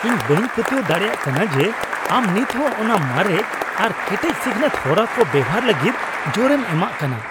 ᱤᱧ ᱵᱟᱹᱧ ᱯᱟᱹᱛᱭᱟᱹᱣ ᱫᱟᱲᱮᱭᱟᱜ ᱠᱟᱱᱟ ᱡᱮ ᱟᱢ ᱱᱤᱛᱦᱚᱸ ᱚᱱᱟ ᱢᱟᱨᱮ ᱟᱨ ᱠᱮᱴᱮᱡ ᱥᱤᱠᱷᱱᱟᱹᱛ ᱦᱚᱨᱟ ᱠᱚ ᱵᱮᱣᱦᱟᱨ ᱞᱟᱹᱜᱤᱫ ᱡᱳᱨᱮᱢ ᱮᱢᱟᱜ ᱠᱟᱱᱟ !